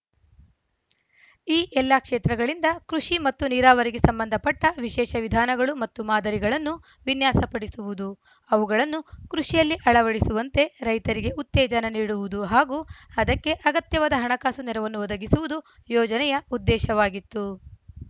ಈ ಎಲ್ಲ ಕ್ಷೇತ್ರಗಳಿಂದ ಕೃಷಿ ಮತ್ತು ನೀರಾವರಿಗೆ ಸಂಬಂಧಪಟ್ಟವಿಶೇಷ ವಿಧಾನಗಳು ಮತ್ತು ಮಾದರಿಗಳನ್ನು ವಿನ್ಯಾಸಪಡಿಸುವುದು ಅವುಗಳನ್ನು ಕೃಷಿಯಲ್ಲಿ ಅಳವಡಿಸುವಂತೆ ರೈತರಿಗೆ ಉತ್ತೇಜನ ನೀಡುವುದು ಹಾಗೂ ಅದಕ್ಕೆ ಅಗತ್ಯವಾದ ಹಣಕಾಸು ನೆರವನ್ನು ಒದಗಿಸುವುದು ಯೋಜನೆಯ ಉದ್ದೇಶವಾಗಿತ್ತು